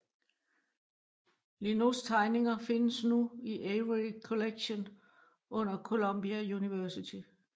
Lienaus tegninger findes nu i Avery Collection under Columbia University